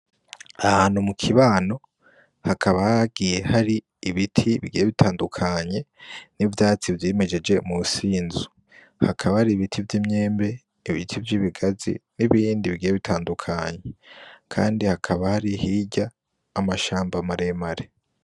Ahantu mu kibano, hakaba hagiye hari ibiti bigiye bitandukanye, n'ivyatsi vyimejeje munsi y'inzu, hakaba hari ibiti vy'imbembe, ibiti vy'ibigazi n'ibindi bigiye bitandukanye, Kandi hakaba hari hirya amashamba maremare.